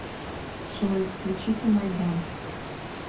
джой включите майдан